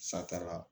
Sataara